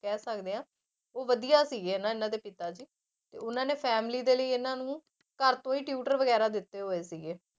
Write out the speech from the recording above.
ਕਹਿ ਸਕਦੇ ਹਾਂ ਉਹ ਵਧੀਆ ਸੀਗੇ ਹਨਾ ਇਹਨਾਂ ਦੇ ਪਿਤਾ ਜੀ, ਤੇ ਉਹਨਾਂ ਨੇ family ਦੇ ਲਈ ਇਹਨਾਂ ਨੂੰ ਘਰ ਤੋਂ ਹੀ tutor ਵਗ਼ੈਰਾ ਦਿੱਤੇ ਹੋਏ ਸੀਗੇ।